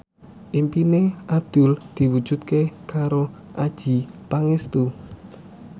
impine Abdul diwujudke karo Adjie Pangestu